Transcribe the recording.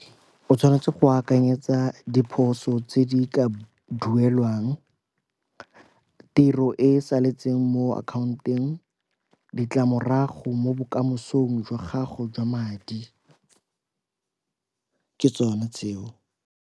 O tshwanetse go akanyetsa diphoso tse di ka duelwang, tiro e e saletseng mo akhaonteng, ditlamorago mo bokamosong jwa gago jwa madi. Ke tsone tseo.